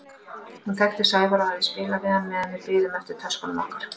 Hún þekkti Sævar og hafði spjallað við hann meðan við biðum eftir töskunum okkar.